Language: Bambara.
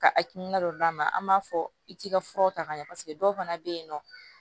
Ka hakilina dɔ d'a ma an b'a fɔ i t'i ka furaw ta ka ɲɛ paseke dɔw fana bɛ yen nɔ